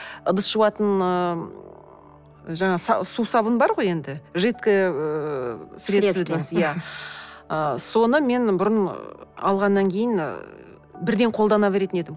ыдыс жуатын ыыы жаңағы сусабын бар ғой енді жидкое ыыы средство дейміз иә ыыы соны мен бұрын алғаннан кейін ы бірден қолдана беретін едім